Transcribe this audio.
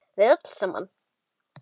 Við öll saman.